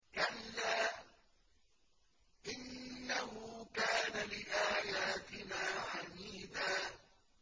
كَلَّا ۖ إِنَّهُ كَانَ لِآيَاتِنَا عَنِيدًا